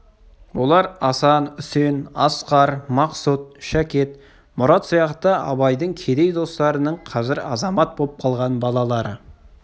олар асан үсен асқар мақсұт шәкет мұрат сияқты абайдың кедей достарының қазір азамат боп қалған балалары